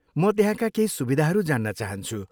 म त्यहाँका केही सुविधाहरू जान्न चाहन्छु।